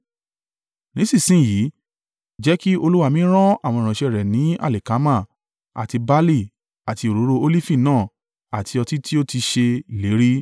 “Nísinsin yìí, jẹ́ kí olúwa mi rán àwọn ìránṣẹ́ rẹ̀ ní alikama àti barle àti òróró Olifi náà àti ọtí tí ó ti ṣe ìlérí.